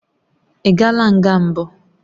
Ị gaala nga mbụ?